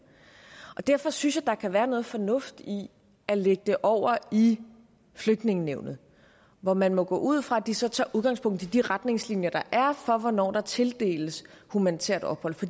derfor synes jeg der kan være noget fornuft i at lægge det over i flygtningenævnet hvor man må gå ud fra at de så tager udgangspunkt i de retningslinjer der er for hvornår der tildeles humanitært ophold for